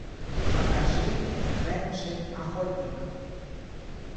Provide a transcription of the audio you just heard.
покажи бенджи охотник